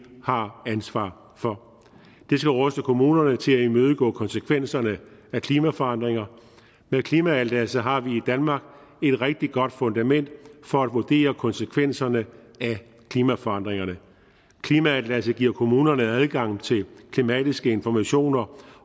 har ansvaret for det skal ruste kommunerne til at imødegå konsekvenserne af klimaforandringer med klimaatlasset har vi i danmark et rigtig godt fundament for at vurdere konsekvenserne af klimaforandringerne klimaatlasset giver kommunerne adgang til klimatiske informationer